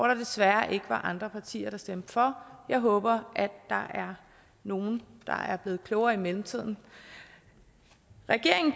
der desværre ikke var andre partier der stemte for jeg håber der er nogle der er blevet klogere i mellemtiden regeringen